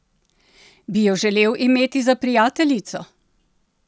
Bi jo želel imeti za prijateljico?